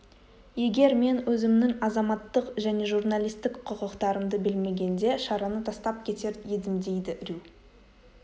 егер мен өзімнің азаматтық және журналистік құқықтарымды білмегенде шараны тастап кетер едімдейді рью